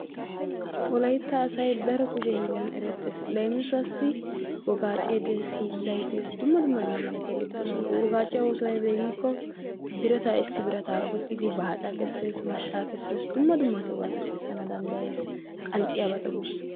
Wolaytta asay daro kushe hiillan erettees. leemisuwassi Wogacce de'ees, hiillay dees dumma dumma hega malatiyaabati de'oosona. woagacciyaassi oosoy aybbe giyaaba gidikko issi birata qoxxidi baacca kessees, maashsha kessees, dumma dumma birata dumma dummabata kessana danddayees qanxxiyabata guussa.